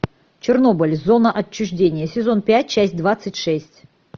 чернобыль зона отчуждения сезон пять часть двадцать шесть